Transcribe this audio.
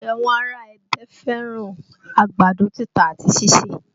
Àwọn ará Ẹdẹ fẹ́ràn àgbàdo títa àti síse